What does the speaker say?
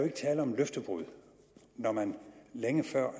er tale om løftebrud når man længe før